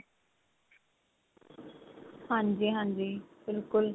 ਹਾਂਜੀ ਹਾਂਜੀ ਬਿਲਕੁਲ